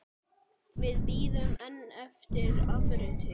Við bíðum enn eftir afriti.